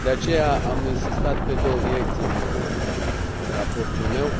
De aceea, am insistat pe două direcții în raportul meu